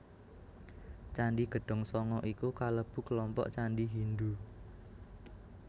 Candhi Gedhong Sanga iku kalebu kelompok candhi Hindhu